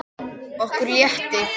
Okkur létti.